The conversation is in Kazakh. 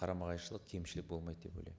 қарама қайшылық кемшілік болмайды деп ойлаймын